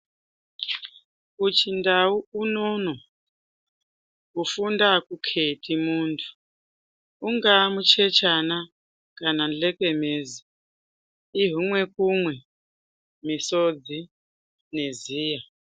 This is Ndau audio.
Kuchindau unono, kufunda akukheti munthu, ungaa muchechana kana ndlekenezi , ihumwe kumwe misodzi neziya.